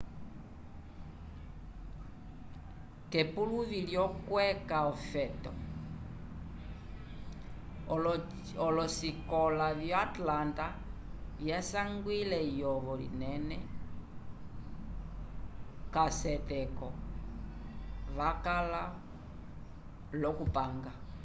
k'epuluvi lyokweca ofeto olosikola vyo atlanta vyasangiwile eyovo linene k'aseteko vakala l'okupanga